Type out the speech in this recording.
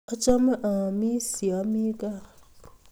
Achame aamisyei ye ami kaa